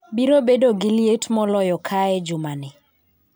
Biro bedo gi liet moloyo kae juma ni